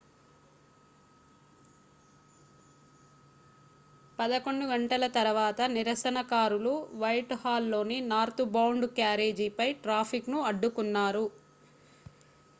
11:00 తరువాత నిరసనకారులు వైట్హాల్లోని నార్త్బౌండ్ క్యారేజీపై ట్రాఫిక్ను అడ్డుకున్నారు